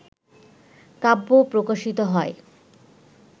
কাব্য প্রকাশিত হয়